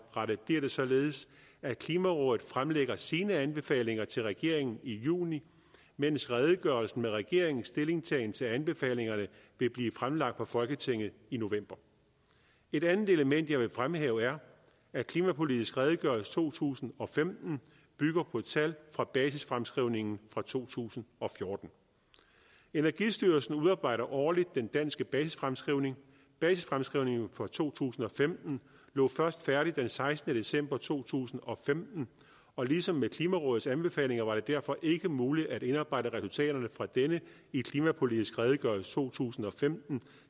således at klimarådet fremlægger sine anbefalinger til regeringen i juni mens redegørelsen med regeringens stillingtagen til anbefalingerne vil blive fremlagt for folketinget i november et andet element jeg vil fremhæve er at klimapolitisk redegørelse to tusind og femten bygger på tal fra basisfremskrivningen fra to tusind og fjorten energistyrelsen udarbejder årligt den danske basisfremskrivning basisfremskrivningen for to tusind og femten lå først færdig den sekstende december to tusind og femten og ligesom med klimarådets anbefalinger var det derfor ikke muligt at indarbejde resultaterne fra denne i klimapolitisk redegørelse to tusind og femten